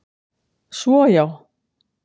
Svo, já!